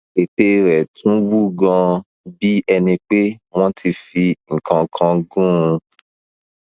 ètè rẹ tún wú ganan bí ẹni pé wọn ti fi nǹkan kan gún un